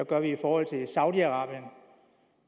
gør i forhold til saudi arabien